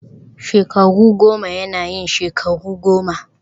shekaru goma yana yin shekaru goma